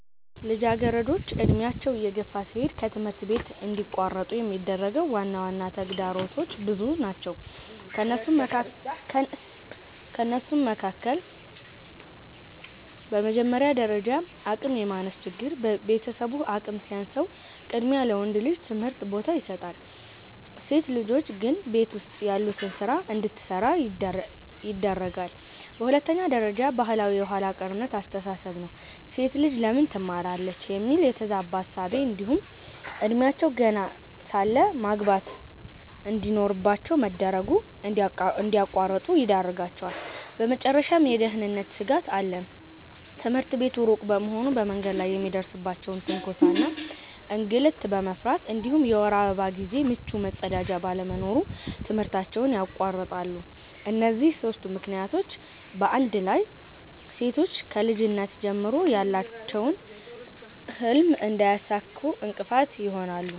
ልጃገረዶች ዕድሜያቸው እየገፋ ሲሄድ ከትምህርት እንዲቋረጡ የሚያደርጉ ዋና ተግዳሮቶች ብዙ ናቸው ከእነሱም መካከል፦ በመጀመሪያ ደረጃ አቅም የማነስ ችግር፤ ቤተሰቡ አቅም ሲያንሰው ቅድሚያ ለወንድ ልጅ ትምህርት ቦታ ይሰጣል፣ ሴት ልጆች ግን ቤት ውስጥ ያሉትን ስራ እንድትሰራ ያደርጋለየ። በሁለተኛ ደረጃ ባህላዊ የኋላ ቀርነት አስተሳሰብ ነው፤ "ሴት ልጅ ለምን ትማራለች?" የሚል የተዛባ እሳቤ እንዲሁም እድሜያቸው ገና ሳለ ማግባት እንድኖርባቸው መደረጉ እንድያቋርጡ ይዳርጋቸዋል። በመጨረሻም የደህንነት ስጋት አለ፤ ትምህርት ቤቱ ሩቅ በመሆኑ በመንገድ ላይ የሚደርስባቸውን ትንኮሳ እና እንግልት በመፍራት እንዲሁም የወር አበባ ጊዜ ምቹ መጸዳጃ ባለመኖሩ ትምህርታቸውን ያቋርጣሉ። እነዚህ ሦስቱ ምክንያቶች በአንድ ላይ ሴቶች ከልጅነት ጀምሮ ያላቸውን ህልም እንዳያሳኩ እንቅፋት ይሆናሉ።